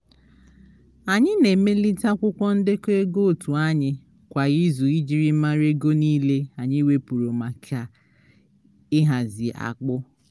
anyị na-emelite akwụkwọ ndekọ ego otu anyị kwa ịzu ijiri mara ego nile anyi wepuru maka ị hazi akpụ